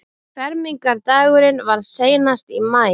Fermingardagurinn var seinast í maí.